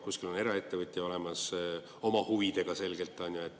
Kuskil on eraettevõtja olemas, oma huvidega selgelt, on ju.